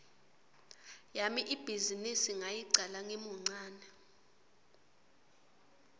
yami ibhizinisi ngayicala ngimuncane